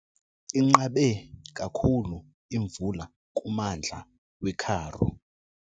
Inqabe kakhulu imvula kummandla weKaroo.